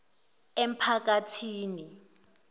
emphakathini